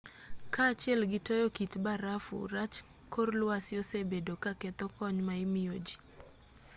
kaa achiel gi toyo kit barafu rach kor lwasi osebedo ka ketho kony ma imiyo ji